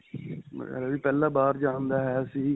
ਮੇਰਾ ਵੀ ਪਹਿਲਾਂ ਬਾਹਰ ਜਾਨ ਦਾ ਹੈ ਸੀ .